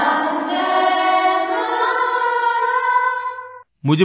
Vande Mataram